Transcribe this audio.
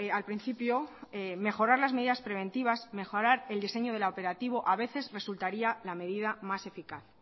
al principio mejorar las medidas preventivas mejorar el diseño del operativo a veces resultaría la medida más eficaz